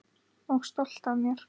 Og stolt af mér.